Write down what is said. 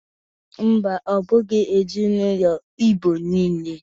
Mba, ọ bụghi ezinaụlọ Igbo niile.